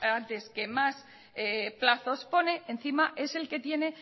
antes que más plazos pone encima es el que tiene